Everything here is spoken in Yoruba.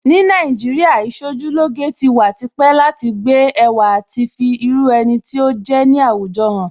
Ní Nàìjíríà, Ìṣojúlóge ti wà tipẹ́ láti gbé ẹwà àti fi irú ẹni tí ó jẹ́ ní àwùjọ hàn